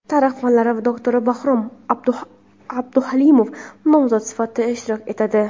tarix fanlari doktori Bahrom Abduhalimov nomzod sifatida ishtirok etadi.